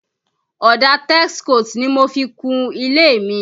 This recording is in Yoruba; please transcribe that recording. Ọ̀dà Texcoat ni mo fi kú ilé mi